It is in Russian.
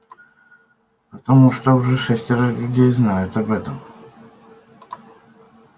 потому что уже шестеро людей знают об этом